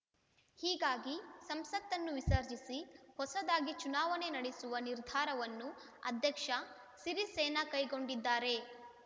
ಹೀಗಾಗಿ ಸಂಸತ್ತನ್ನು ವಿಸರ್ಜಿಸಿ ಹೊಸದಾಗಿ ಚುನಾವಣೆ ನಡೆಸುವ ನಿರ್ಧಾರವನ್ನು ಅಧ್ಯಕ್ಷ ಸಿರಿಸೇನಾ ಕೈಗೊಂಡಿದ್ದಾರೆ